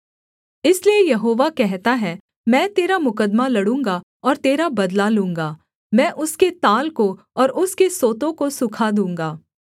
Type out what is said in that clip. इसलिए यहोवा कहता है मैं तेरा मुकद्दमा लड़ूँगा और तेरा बदला लूँगा मैं उसके ताल को और उसके सोतों को सूखा दूँगा